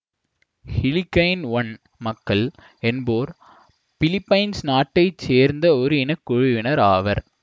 Hiligaynon மக்கள் என்போர் Philippines நாட்டை சேர்ந்த ஒரு இனக்குழுவினர் ஆவர்